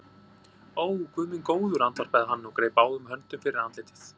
Ó, Guð minn góður, andvarpaði hann og greip báðum höndum fyrir andlitið.